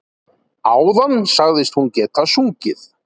Áðan sagðist hún geta sungið.